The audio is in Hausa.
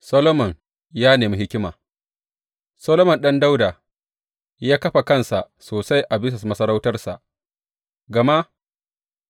Solomon ya nemi hikima Solomon ɗan Dawuda ya kafa kansa sosai a bisa masarautarsa, gama